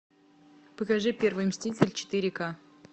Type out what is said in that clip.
покажи первый мститель четыре ка